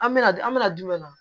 An mɛna dun an mɛna jumɛn na